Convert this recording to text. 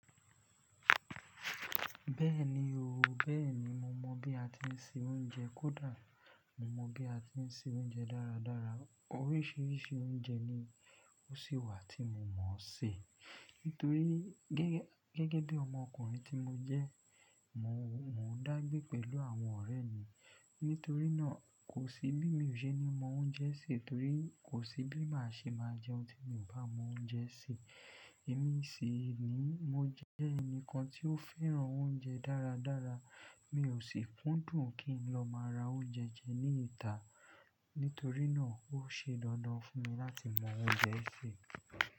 Bẹ́ẹ̀ni ooo, bẹ́ẹ̀ni mo mọ̀ bí a ti ń se oúnjẹ kódà mo mọ̀ bí a ti ń se oúnjẹ dáradára. Oríṣìíríṣìí oúnjẹ ni ó ṣì wà tí mo mọ̀ se. Nítorí gẹ́gẹ́ bí ọmọ ọkùnrin tí mo jẹ́, mò ń dàgbé pẹ̀lú àwọn ọ̀rẹ́ mi. Nítorí náà kò sí bí mí ò ṣe ní mọ oúnjẹ se torí kò sí bí màá ṣe máa jẹun tí mi ò bá mọ oúnjẹ se. Èmi sì ni mo jẹ́ ẹnìkan tí ó féràn oúnjẹ dáradára. Mi ò sì kúndùn kí n lọ máa ra oúnjẹ jẹ ní ìta. Nítorí náà ó ṣe dandan fún mi láti mọ oúnjẹ ẹ sé.